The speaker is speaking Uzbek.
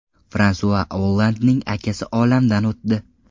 Fransua Ollandning akasi olamdan o‘tdi.